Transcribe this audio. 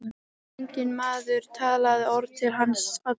Enginn maður talaði orð til hans allan veturinn.